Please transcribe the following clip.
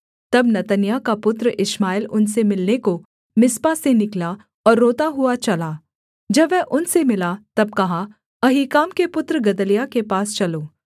तब नतन्याह का पुत्र इश्माएल उनसे मिलने को मिस्पा से निकला और रोता हुआ चला जब वह उनसे मिला तब कहा अहीकाम के पुत्र गदल्याह के पास चलो